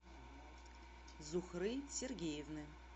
зухры сергеевны